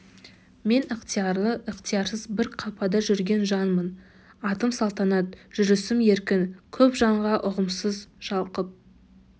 мен ықтиярлы ықтиярсыз бір қапада жүрген жанмын атым салтанат жүрісім еркін көп жанға ұғымсыз шалқып